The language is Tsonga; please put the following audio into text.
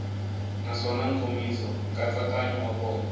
naswona nkomiso nkatsakanyo wa kona